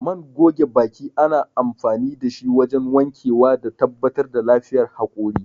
Man goge baki ana amfani dashi wajen wankewa da tabbatar da lafiyar haƙora